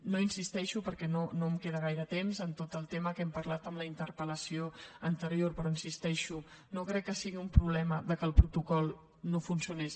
no insisteixo perquè no em queda gaire temps en tot el tema que hem parlat en la interpel·lació anterior però hi insisteixo no crec que sigui un problema que el protocol no funcionés